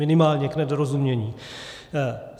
Minimálně k nedorozumění.